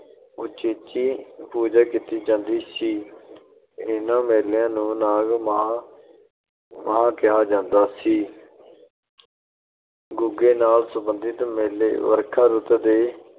ਉਚੇਚੀ ਪੂਜਾ ਕੀਤੀ ਜਾਂਦੀ ਸੀ। ਇਹਨਾਂ ਮੇਲਿਆਂ ਨੂੰ ਨਾਗ-ਮਾਹਾ ਕਿਹਾ ਜਾਂਦਾ ਸੀ । ਗੁੱਗੇ ਨਾਲ ਸੰਬੰਧਿਤ ਮੇਲੇ ਵਰਖਾ ਰੁੱਤ ਦੇ